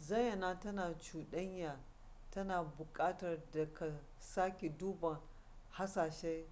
zayyana ta cuɗanya tana buƙatar da ka sake duba hasashen